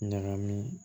Ɲagami